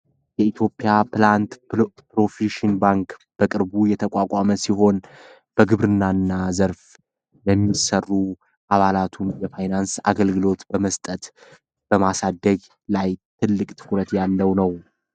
የኢትዮጵያ ፕላንድ ፕሮፌሽን ባንክ በቅርቡ የተቋቋመ ሲሆን በግብርናና ዘርፍ ለሚሰሩ አባላቱን የፋይናንስ አገልግሎት በመስጠት በማሳደግ ላይ ትልቅ ትኩረት ያለው ነው።